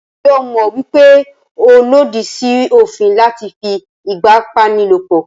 Njẹ́ o mọ̀ wípé ó lòdì sí òfin láti fí ipábánilòpọ̀?